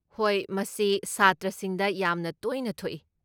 ꯍꯣꯏ ꯃꯁꯤ ꯁꯥꯇ꯭ꯔꯁꯤꯡꯗ ꯌꯥꯝꯅ ꯇꯣꯏꯅ ꯊꯣꯛꯏ꯫